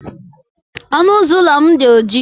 Ọnụ ụzọ ụlọ m dị oji.